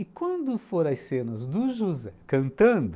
E quando for às cenas do José cantando,